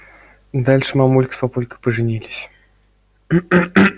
дальше мамулька с папулькой поженились